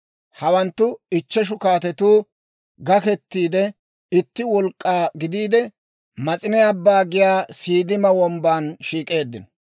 Hawanttu ichcheshu kaatetu gaketiide itti wolk'k'aa gidiide, (Mas'ine Abbaa giyaa) Siiddima Wombban shiik'eeddino.